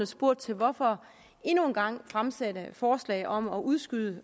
spurgt til hvorfor der endnu en gang fremsættes forslag om at udskyde